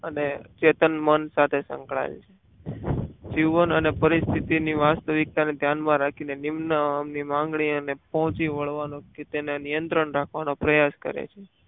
અને ચેતન મન સાથે સંકળાયેલ છે જીવન અને પરિસ્થિતિ ની વાસ્તવિક ઈચ્છાને ધ્યાનમાં રાખીને નિમ્ન અહમની માગણી અને પહોંચી વળવાની તેને નિયંત્રણ રાખવાનો પ્રયાસ કરે છે.